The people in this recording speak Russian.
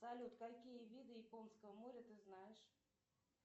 салют какие виды японского моря ты знаешь